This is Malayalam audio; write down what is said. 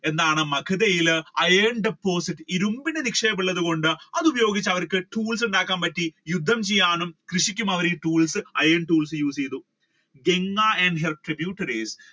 എന്താണ് മഗധയിൽ Iron deposits ഇരുമ്പിന്റെ നിക്ഷേപം ഉള്ളത് കൊണ്ട് അതുപയോഗിച്ചു അവർക്ക് tools ഉണ്ടാക്കാൻ പറ്റി യുദ്ധം ചെയ്യാനും കൃഷിക്കും അവർ ഈ tools, iron tools use ചെയ്തു Ganga and her tributaries